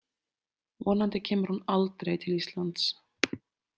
Vonandi kemur hún aldrei til Íslands.